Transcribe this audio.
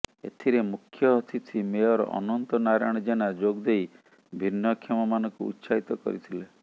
ଏଥିରେ ମୁଖ୍ୟ ଅତିଥି ମେୟର ଅନନ୍ତ ନାରାୟଣ ଜେନା ଯୋଗଦେଇ ଭିନ୍ନକ୍ଷମମାନଙ୍କୁ ଉତ୍ସାହିତ କରିଥିଲେ